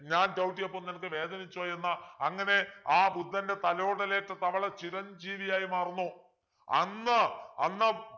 ഞാൻ ചവിട്ടിയപ്പോൾ നിനക്ക് വേദനിച്ചോ എന്ന് അങ്ങനെ ആ ബുദ്ധൻ്റെ തലോടലേറ്റ തവള ചിരഞ്ജീവിയായി മാറുന്നു അന്ന് അന്ന്